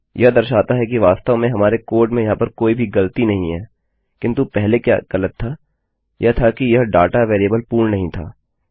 यह दर्शाता है कि वास्तव में हमारे कोड में यहाँ पर कोई भी ग़लती नहीं है किन्तु पहले क्या ग़लत था यह था कि यह डाटा वेरिएबल पूर्ण नहीं था